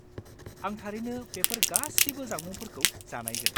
आं थारैनो बेफोर गासिबो जामुंफोरखौ जानायगोन।